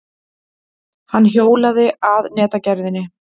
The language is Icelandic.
Hann hjólaði að netagerðinni.